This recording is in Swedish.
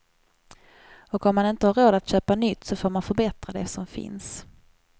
Och om man inte har råd att köpa nytt så får man förbättra det som finns.